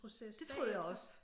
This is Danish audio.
Det troede jeg også